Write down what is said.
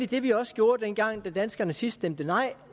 det vi også gjorde dengang danskerne sidst stemte nej